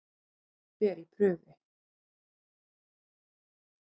Þetta fer í prufi.